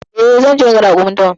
E, zan je naga raƙumin dawan.